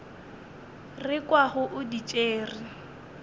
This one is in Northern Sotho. re kwago o di tšere